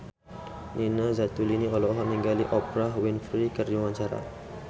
Nina Zatulini olohok ningali Oprah Winfrey keur diwawancara